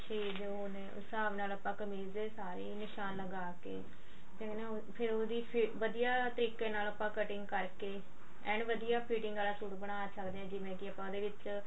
ਸ਼ਰੀਰ ਦੇ ਉਹ ਨੇ ਉਸ ਸਾਬ ਨਾਲ ਆਪਾਂ ਕਮੀਜ਼ ਦੇ ਸਾਰੇ ਨਿਸ਼ਾਨ ਲਗਾ ਕੇ ਫੇਰ ਨਾ ਫੇਰ ਉਹਦੀ ਵਧੀਆ ਤਰੀਕੇ ਨਾਲ ਉਹਦੀ cutting ਕਰਕੇ ਐਨ ਵਧੀਆ fitting ਆਲਾ ਸੂਟ ਬਣਾ ਸਕਦੇ ਹਾਂ ਜਿਵੇਂ ਕੀ ਆਪਾਂ ਉਹਦੇ ਵਿੱਚ